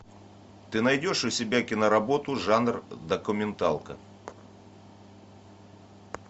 ты найдешь у себя кино работу жанр документалка